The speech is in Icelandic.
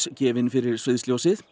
gefin fyrir sviðsljósið